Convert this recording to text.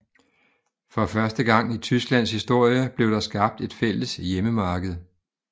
For første gang i Tysklands historie blev der skabt et fælles hjemmemarked